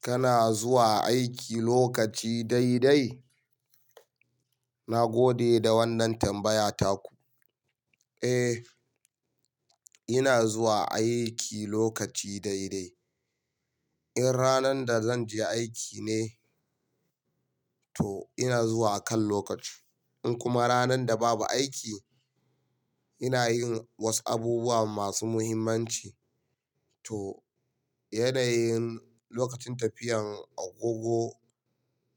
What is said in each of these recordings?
Kana zuwa aiki lokaci dai dai? Na gode da wannan tambaya taku. Eh, ina zuwa aiki lokaci dai dai. In ranan da zanje aiki ne, to ina zuwa akan lokaci. In kuma ranan da babu aiki, ina yin wasu abubuwa masu muhimmanci. To, yanayin lokacin tafiyan a gogo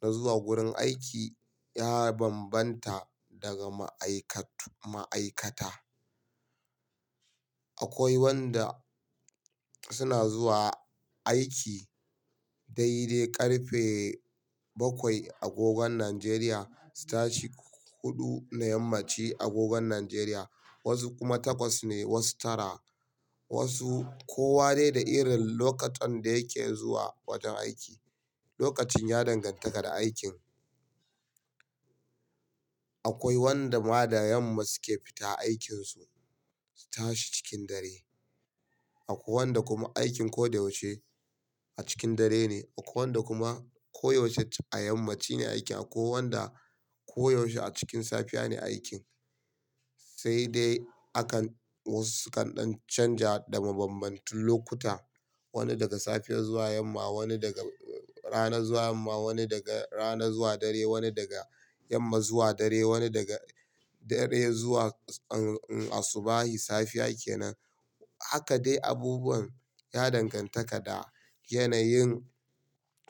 na zuwa gurin aiki ya bambanta daga ma'aikat-ma'aikata. Akwai wanda suna zuwa aiki dai dai ƙarfe bakwai a gogon Najeriya, su tashi huɗu na yammaci a gogon Najeriya, wasu kuma takwas ne, wasu tara, wasu kowa dai da irin lokacin da yake zuwa wajen aiki. Lokacin ya danganta da aikin. Akwai wanda madayan ma suke fita aikinsu, su tashi cikin dare. Akwai wanda kuma aikin ko da yaushe a cikin dare ne. Akwai wanda kuma ko yaushe a yammaci ne a ke. Akwai wanda koyaushe a cikin safiya ne aikin. Sai dai akan wasu sukan ɗan canja da mabanbantun lokuta. Wani daga safiya zuwa yamma, wani daga rana zuwa yamma, wani daga rana zuwa dare, wani daga yamma zuwa dare, wani daga dare zuwa asubahi safiya kenan. Haka dai abubuwan ya danganta da yanayin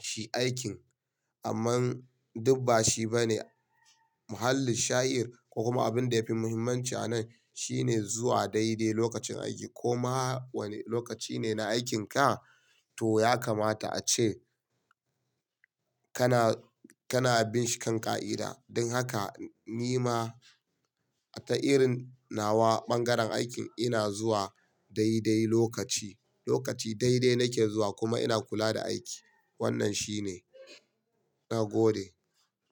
shi aikin. Amma duk ba shi bane muhallin sha'ir, kuma abin da yafi muhimmanci a nan shine zuwa dai dai lokacin aiki. Koma wane lokaci ne na aikinka, to ya kamata ace kana, kana bin shin kan ƙa'ida. Don haka ni ma a ta irin nawa ɓangaren aikin ina zuwa dai dai lokaci. Lokaci dai dai nake zuwa kuma ina kula da aiki. Wannan shine. Na gode.